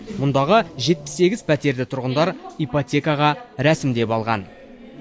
мұндағы жетпіс сегіз пәтерді тұрғындары ипотекаға рәсімдеп алған